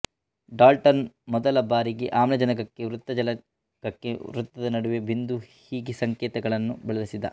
Dalton ಮೊದಲ ಬಾರಿಗೆ ಆಮ್ಲಜನಕಕ್ಕೆ ವೃತ್ತ ಜಲಜನಕಕ್ಕೆ ವೃತದ ನಡುವೆ ಬಿಂದು ಹೀಗೆ ಸಂಕೇತಗಳನ್ನು ಬಳಸಿದ